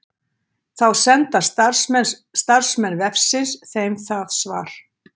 Þá senda starfsmenn vefsins þeim það svar.